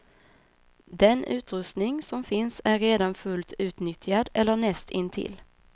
Den utrustning som finns är redan fullt utnyttjad eller näst intill.